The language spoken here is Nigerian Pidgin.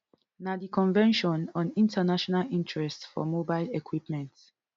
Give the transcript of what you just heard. na di convention on international interests for mobile equipment